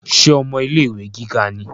Ṣe ọmọ ilé-ìwé gíga ni?